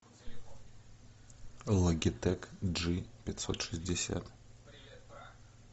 логитек джи пятьсот шестьдесят